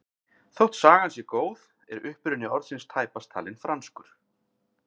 Þótt sagan sé góð er uppruni orðsins tæpast talinn franskur.